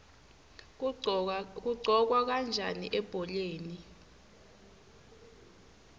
kuqhokwa kanjani ebholeni